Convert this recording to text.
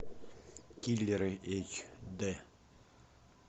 киллеры эйч дэ